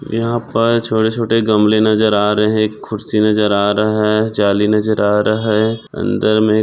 यहा पर छोटे छोटे गमले नजर आ रहे है खुर्सी नजर आ रहा है जाली नजर आ रहा है अंदर मे--